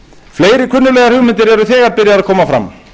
fleiri kunnuglegar hugmyndir eru þegar byrjaðar að koma fram